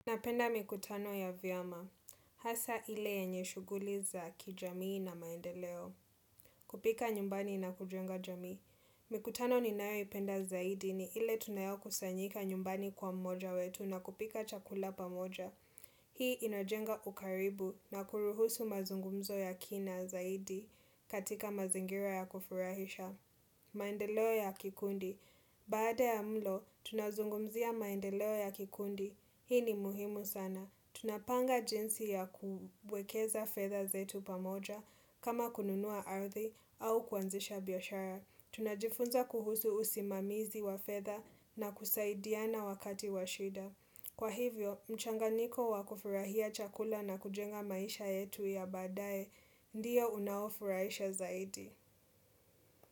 Napenda mikutano ya vyama. Hasa ile yenye shughuli za kijamii na maendeleo. Kupika nyumbani na kujenga jamii. Mikutano ni nayo ipenda zaidi ni ile tunayo kusanyika nyumbani kwa mmoja wetu na kupika chakula pamoja. Hii inajenga ukaribu na kuruhusu mazungumzo ya kina zaidi katika mazingira ya kufurahisha. Maendeleo ya kikundi. Baada ya mlo, tunazungumzia maendeleo ya kikundi. Hii ni muhimu sana. Tunapanga jinsi ya kubwekeza fedha zetu pamoja kama kununua ardhi au kuanzisha biashara. Tunajifunza kuhusu usimamizi wa fedha na kusaidia na wakati washida. Kwa hivyo, mchanganyiko wakufurahia chakula na kujenga maisha yetu ya baadae ndio unaofurahisha zaidi.